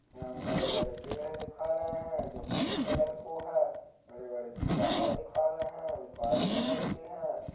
यहाँ हम बड़े-बड़े पेड़ दिखा रहे हैं जो हरे कलर के है। बड़े-बड़े पहाड़ देखा रहे हैं जो हरे कलर के हैं।